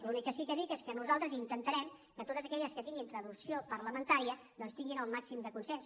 l’únic que sí que dic és que nosaltres intentarem que totes aquelles que tinguin traducció parlamentària doncs tinguin el màxim de consens